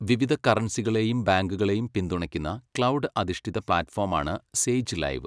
വിവിധ കറൻസികളെയും ബാങ്കുകളെയും പിന്തുണയ്ക്കുന്ന ക്ലൗഡ്‌ അധിഷ്ഠിത പ്ലാറ്റ്ഫോമാണ് സേജ് ലൈവ്.